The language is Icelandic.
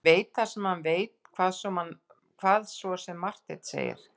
Hann veit það sem hann veit, hvað svo sem Marteinn segir.